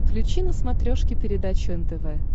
включи на смотрешке передачу нтв